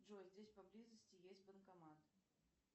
джой здесь поблизости есть банкомат